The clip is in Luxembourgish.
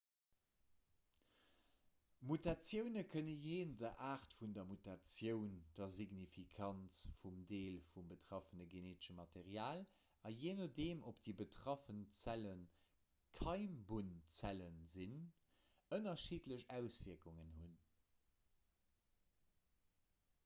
mutatioune kënne jee no der aart vun der mutatioun der signifikanz vum deel vum betraffene geneetesche material a jee nodeem ob déi betraff zelle keimbunnzelle sinn ënnerschiddlech auswierkungen hunn